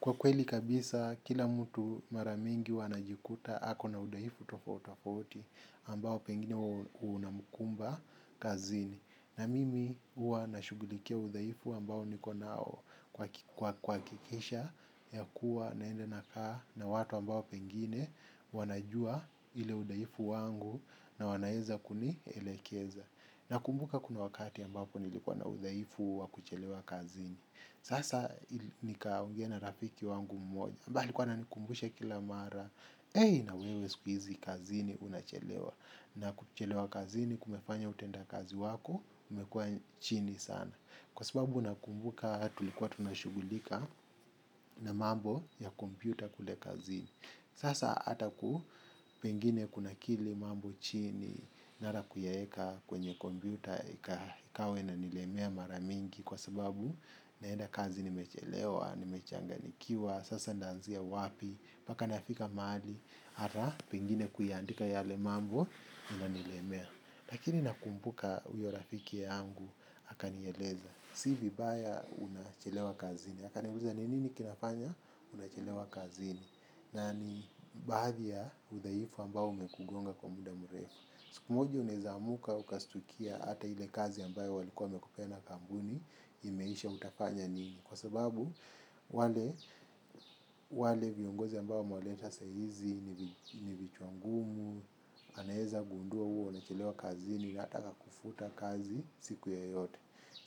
Kwa kweli kabisa kila mtu mara mingi huwa anajikuta ako na udaifu tofauti tofauti ambao pengine unamkumba kazini. Na mimi huwa nashugulikia udhaifu ambao niko nao kwa kuhakikisha ya kuwa naenda nakaa na watu ambao pengine wanajua ile udaifu wangu na wanaeza kunielekeza. Nakumbuka kuna wakati ambapo nilikuwa na udhaifu wa kuchelewa kazini. Sasa nikaongea na rafiki wangu mmoja ambaye alikuwa ananikumbusha kila mara. Ei na wewe siku hizi kazini unachelewa, na kuchelewa kazini kumefanya utendakazi wako umekuwa chini sana kwa sababu nakumbuka tulikuwa tunashughulika na mambo ya kompyuta kule kazini. Sasa ata ku pengine kuna kili mambo chini, nara kuyaeka kwenye kompyuta ikawa inanilemea mara mingi kwa sababu naenda kazi nimechelewa, nimechanganikiwa, sasa naanzia wapi, mpaka nafika mahali ara, pengine kuyaandika yale mambo, unanilemea. Lakini nakumbuka huyo rafiki yangu akanieleza, si vibaya unachelewa kazini, akaniambia ni nini kinafanya unachelewa kazini? Na ni baadhi ya udhaifu ambao umekugonga kwa muda mrefu. Siku moja unaweza amuka ukastukia hata ile kazi ambayo walikuwa wamekupea na kampuni imeisha, utafanya nini? Kwa sababu wale, wale viongozi ambao wamewaleta saa hizi ni vichwa ngumu anaeza gundua huwa unachelewa kazini na hata akakufuta kazi siku yoyote.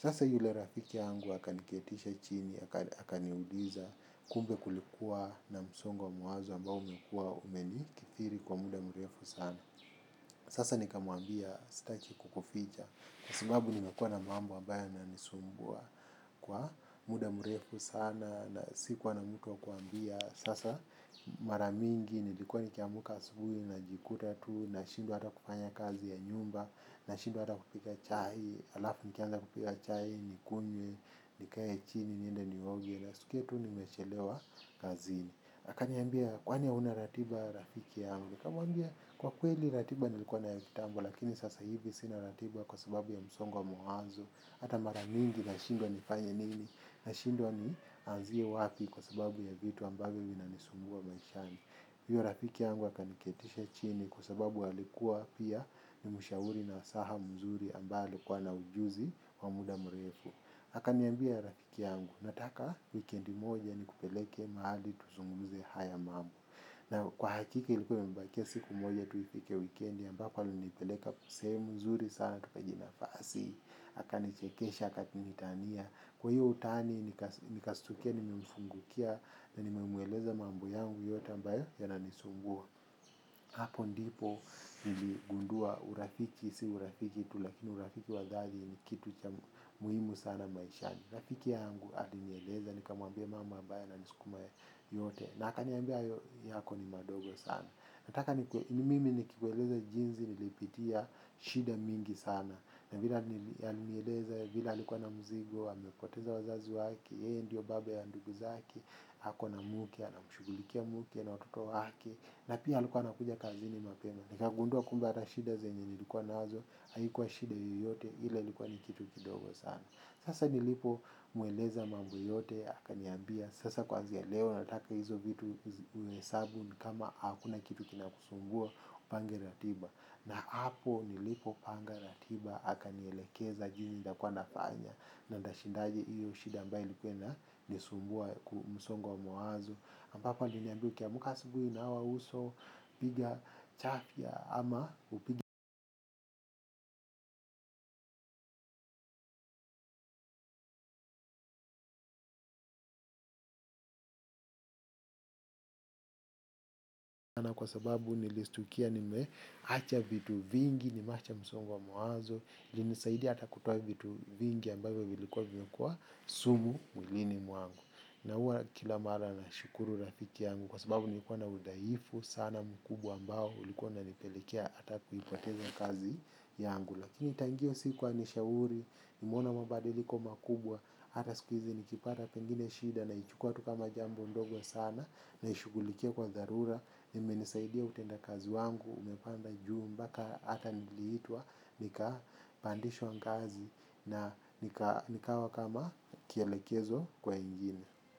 Sasa yule rafiki yangu akaniketisha chini akaniuliza, kumbe kulikuwa na msongo wa mawazo ambao umekuwa umenikithiri kwa muda mrefu sana. Sasa nikamwambia staki kukuficha, kwa sababu nimekuwa na mambo ambayo yananisumbua kwa muda mrefu sana na sikuwa na mtu wa kuambia. Sasa mara mingi nilikuwa nikiamka asubuhi najikuta tu nashindwa hata kufanya kazi ya nyumba, nashindwa hata kupika chai, halafu nikianza kupika chai nikunywe, nikae chini, niende nioge naskia tu nimechelewa kazini. Akaniambia kwani hauna ratiba rafiki yangu. Kamuambia kwa kweli ratiba nilikuwa nayo kitamb lakini sasa hivi sina ratiba kwa sababu ya msongo wa mawazo, hata mara mingi nashindwa nifanye nini, nashindwa nianzie wapi kwa sababu ya vitu ambavyo vinanisumbua maishani. Hiyo rafiki yangu akaniketisha chini kwa sababu alikuwa pia ni mshauri na asaha mzuri ambaye alikuwa na ujuzi wa muda mrefu. Akaniambia rafiki yangu, nataka wikendi moja nikupeleke mahali tuzumguze haya mambo. Na kwa hakika ilikuwa imebakia siku moja tu ifike wikendi ambako alinipeleka sehemu nzuri sana tukajinafasi. Akanichekesha, akanitania. Kwa hiyo utaani nikastukia nimemfungukia. Na nimemweleza mambo yote yangu ambayo yananisumbua. Hapo ndipo niligundua urafiki si urafiki tu lakini urafiki wa dhali ni kitu cha muhimu sana maishani. Rafiki yangu alinieleza nikamwambia mambo ambayo yananisukuma yote. Na akaniambia yako ni madogo sana. Nataka ni mimi nikikueleza jinsi nilipitia shida mingi sana. Na vile alinieleza vile alikuwa na mzigo, amepoteza wazazi wake, yeye ndiyo baba ya ndugu zake, ako na muke, anamshughulikia muke na watoto wake. Na pia alikuwa anakuja kazini mapema. Nikagundua kumbe hata shida zenye nilikuwa nazo, haikuwa shida yoyote, ila ilikuwa ni kitu kidogo sana. Sasa nilipomweleza mambo yote akaniambia sasa kuanzia leo nataka hizo vitu uhesabu kama hakuna kitu kinakusumbua upange ratiba. Na hapo nilipopanga ratiba akanielekeza jinsi nitakuwa nafanya na ntashindaje hiyo shida ambayo ilikuwa inanisumbua msongo wa mawazo. Hapa aliniambia ukiamka asubuhi nawa uso piga chafya ama na kwa sababu nilistukia nimeacha vitu vingi, nimewacha msongo wa mawazo ilinisaidi hata kutoa vitu vingi ambavyo vilikuwa vimekuwa sumu mwilini mwangu. Na huwa kila mara nashukuru rafiki yangu kwa sababu nilikuwa na udhaifu sana mkubwa ambao ulikuwa unanipelekia hata kuipoteza kazi yangu. Lakini tangu hiyo siku anishauri, nimeona mabadiliko makubwa, hata siku hizi nikipata pengine shida naichukua tu kama jambo ndogo sana, naishughulikia kwa dharura, inimenisaidia utendakazi wangu umepanda juu mbaka hata niliitwa, nikapandishwa ngazi na nikawa kama kielekezo kwa wengine.